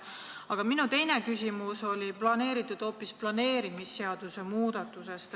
Aga minu teine küsimus on hoopis planeerimisseaduse muudatuse kohta.